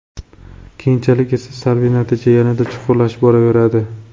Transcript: Keyinchalik esa, salbiy natija yanada chuqurlashib boraveradi.